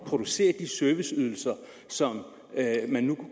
producere de serviceydelser som man